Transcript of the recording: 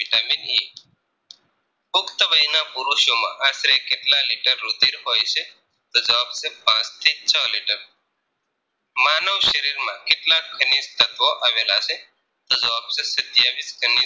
vitamin E પુખ્ત વયના પુરુષો માં અત્રે કેટલા લીટર રુધિર હોય છે તો જવાબ છે પાંચ થી છ લીટર માનવ શરીર માં કેટલા ખનીજ તત્વો આવેલા છે તો જવાબ છે સત્યાવીસ ખનીજ